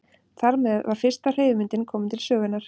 Þar með var fyrsta hreyfimyndin komin til sögunnar.